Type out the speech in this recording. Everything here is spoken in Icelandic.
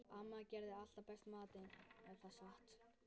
Amma gerði alltaf besta matinn.